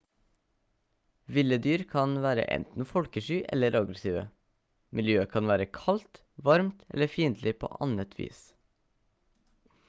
ville dyr kan være enten folkesky eller aggressive miljøet kan være kaldt varmt eller fiendtlig på annet vis